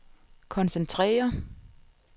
koncentrere